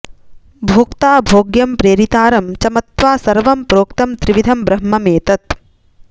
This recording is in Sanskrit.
भोक्ता भोग्यं प्रेरितारं च मत्वा सर्वं प्रोक्तं त्रिविधं ब्रह्ममेतत्